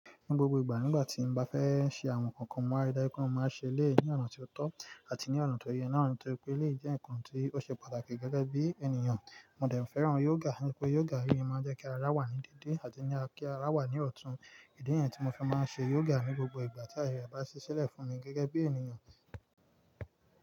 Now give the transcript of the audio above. Ní gbogbo ìgbà nígbà tí mo bá fẹ́ ṣe àwọn nǹkan kan, mo máa rí dájú pé mó máa ṣẹ elẹ̀yi ní ọ̀nà tí ó tọ́ àti ní ọ̀nà tó yẹ. Ní ọ̀nà tó yẹ pé ilé jẹ́ nǹkan tí ó ṣe pàtàkì gẹ́gẹ́ bí ènìyàn. Mo dẹ̀ ń fẹ́ran yoga, nítorí pé yoga rí i máa ń jẹ́ kí ara wà ní dédé àti kí ara wà ní ọ̀tún. Ìdí nǹyẹn tí mo fi máa ń ṣe yoga ní gbogbo ìgbà tí ayẹ re bá ṣiṣilẹ̀ fún mi gẹ́gẹ́ bí ènìyàn.